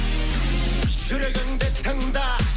жүрегіңді тыңда